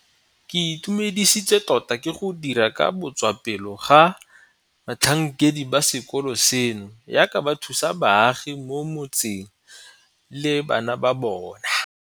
Ke itumedisitswe tota ke go dira ka botswapelo ga batlhankedi ba sekolo seno jaaka ba thusa baagi mo mo tseng le bana ba bona.